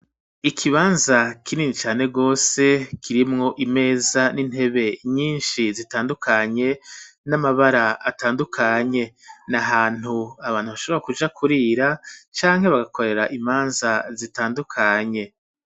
Ikibanza kinini cane gose kirimwo imeza n'intebe nyishi zitandukanye n'amabara atandukanye na hantu abantu bashobora kuja kurira canke bagakorera imanza zitandukanye.